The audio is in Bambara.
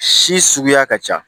Si suguya ka ca